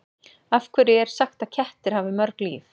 Af hverju er sagt að kettir hafi mörg líf?